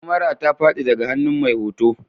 Kamara ta fadi daga hannun mai hoto